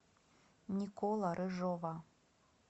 никола рыжова